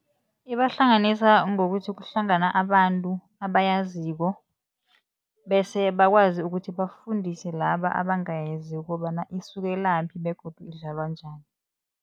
Ibahlanganisa ngokuthi kuhlangana abantu abayaziko bese bakwazi ukuthi bafundise laba abangayaziko ukobana isukelaphi begodu idlalwa njani.